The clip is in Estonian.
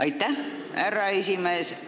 Aitäh, härra esimees!